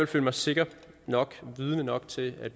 føle mig sikker nok og vidende nok til at